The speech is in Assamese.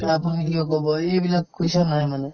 তে আপুনি কিয় ক'ব এইবিলাক question আহে মানে